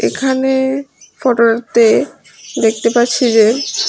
এখানে ফটোটিতে দেখতে পাচ্ছি যে--